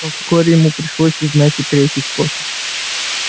но вскоре ему пришлось узнать и третий способ